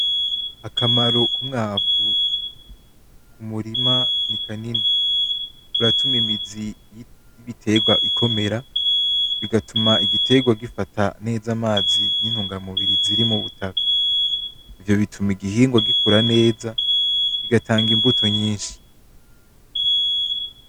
Akamaro k’umwavu ku murima ni kanini. Uratuma imizi y’ibitegwa ikomera, bigatuma igitegwa gifata neza amazi n’intunga mubiri ziri mubutaka. Ivyo bituma igihingo gikura neza kigatanga imbuto nyinshi.